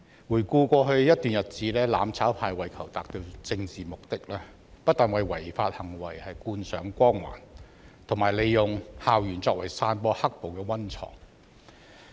回顧過去一段日子，"攬炒派"為求達致其政治目的，不但為違法行為扣上光環，更利用校園作為散播"黑暴"的溫床。